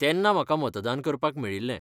तेन्ना म्हाका मतदान करपाक मेळिल्लें.